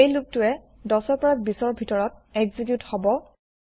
এই লুপ টোই ১০ ২০ ৰ ভিতৰত এক্সেকিউত হব